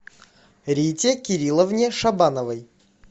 рите кирилловне шабановой